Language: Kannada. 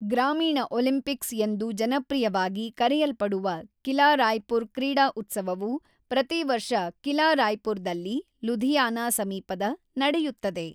ಗ್ರಾಮೀಣ ಒಲಿಂಪಿಕ್ಸ್ ಎಂದು ಜನಪ್ರಿಯವಾಗಿ ಕರೆಯಲ್ಪಡುವ ಕಿಲಾ ರಾಯ್‌ಪುರ್ ಕ್ರೀಡಾ ಉತ್ಸವವು ಪ್ರತಿವರ್ಷ ಕಿಲಾ ರಾಯ್‌ಪುರದಲ್ಲಿ (ಲೂಧಿಯಾನ ಸಮೀಪದ) ನಡೆಯುತ್ತದೆ.